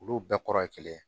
Olu bɛɛ kɔrɔ ye kelen